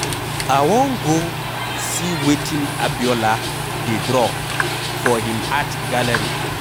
I wan go see wetin Abiola dey draw for him art gallery.